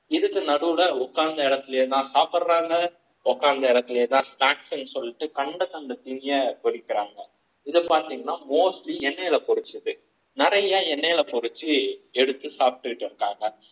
இதுக்கு நடுவுல உட்கார்ந்து இடத்திலேயே தான் சாப்பிடுறாங்க உலகத்திலேயே தான் snacks சொல்லிட்டு கண்ட கண்ட பொறிக்கிறாங்க இதை பார்த்தீங்கன்னா mostly என்னை புரிச்சது நிறைய எண்ணெயில பொரிச்சு எடுத்து சாப்பிட்டுட்டு இருந்தாங்க